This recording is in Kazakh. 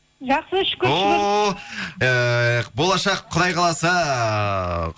жақсы шүкір шүкір о ыыы болашақ құдай қаласа